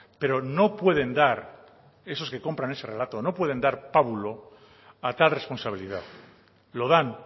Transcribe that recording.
pero no pueden dar esos que compran ese relato no pueden dar pábulo a tal responsabilidad lo dan